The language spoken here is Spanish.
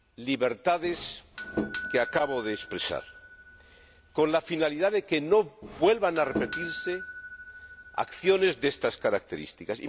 libertades que acabo de expresar, con la finalidad de que no vuelvan a repetirse acciones de estas características.